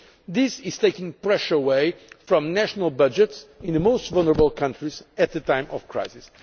This takes pressure away from national budgets in the most vulnerable countries at a time of crisis.